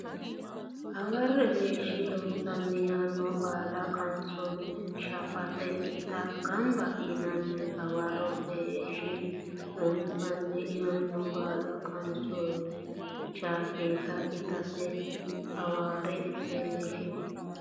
Hawarre leeshshi Loossinanni yaanno balla qansoonni shaafeeta itate gamba yinanni Hawarre leeshshi Loossinanni yaanno balla qansoonni shaafeeta itate Hawarre leeshshi.